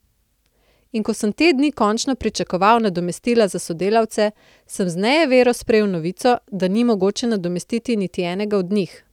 In ko sem te dni končno pričakoval nadomestila za sodelavce, sem z nejevero sprejel novico, da ni mogoče nadomestiti niti enega od njih.